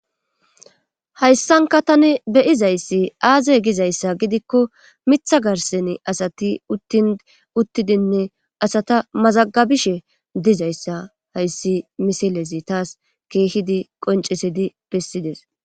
hayssanka tani beyizayssi aaze gizayssa gidikko mitha garseni asati uttin uttidinne asata mazagabishe dizayssa hayssi misilezi taas keehidi qoncisidi bessides